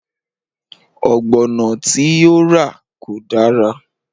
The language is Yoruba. Ọ̀gbọ̀nọ̀ tí ó rà kò dára